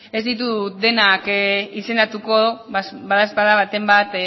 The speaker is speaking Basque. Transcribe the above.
ez ditut denak izendatuko badaezpada baten bat